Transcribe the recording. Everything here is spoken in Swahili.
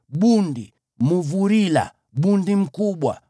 bundi, mumbi, bundi mkubwa,